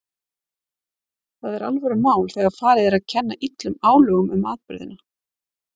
Það er alvörumál þegar farið er að kenna illum álögum um atburðina.